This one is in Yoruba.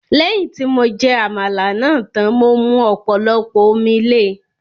Lẹ́yìn tí mo jẹ Àmàlà náà tán, mo mu ọ̀pọ̀lọpọ̀ omi le